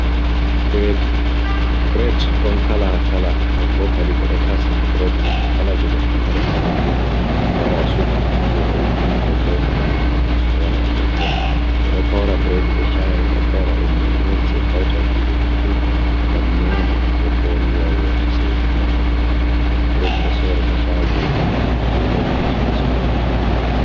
Bred ɗon kala kala nder bokadi ɓe ɗo kasi bred mai kala je goɗɗo mari haje fu wara o suba je o yidi nder bokadi o yaha o naftira. Ɓe ɗo hawra bred be sha’i o hawra be miones je kautai kujeji fu ngam nyama nder bo riwa welo sei nafa ɓandu bredi do sori ha chagoji non bokati soya supa maket ji mauɗi.